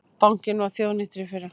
Bankinn var þjóðnýttur í fyrra